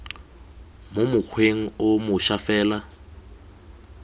mo mokgweng o moša fela